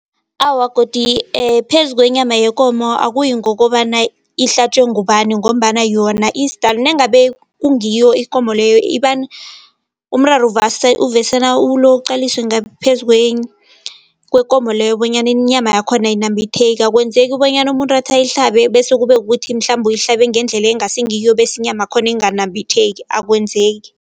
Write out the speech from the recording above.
Awa, godi phezu kwenyama yekomo akuyi ngokobana ihlatjwe ngubani ngombana yona nangabe kungiyo ikomo leyo , umraro uqaliswe ngaphezu kwekomo leyo bonyana inyama yakhona ayinambitheki. Akwenzeki bonyana umuntu athi ayihlabe bese kube kuthi mhlambe uyihlabe, ngendlela ekungasi ngiyo bese inyama yakhona inganambitheki akwenzeki.